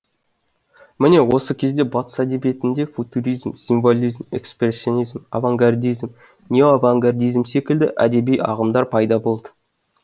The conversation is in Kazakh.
міне осы кезде батыс әдебиетінде футуризм символизм экспрессионизм авангардизм неоавангардизм секілді әдеби ағымдар пайда болды